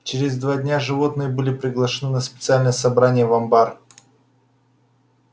через два дня животные были приглашены на специальное собрание в амбар